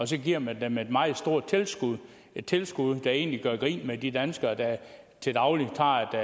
så giver man dem et meget stort tilskud tilskud der egentlig gør grin med de danskere der til daglig tager